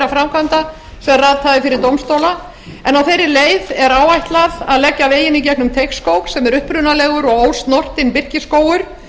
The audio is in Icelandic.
framkvæmda sem ratað hafa fyrir dómstóla en á þeirri leið er áætlað að leggja veginn í gegnum teigsskóg sem er upprunalegur og ósnortinn birkiskógur